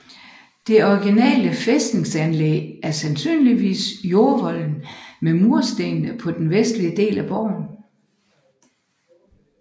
Det originale fæstningsanlæg er sandsynligvis jordvolden med murresterne på den vestlige del af borgen